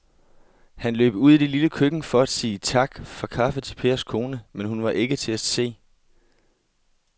Han løb ud i det lille køkken for at sige tak for kaffe til Pers kone, men hun var ikke til at se.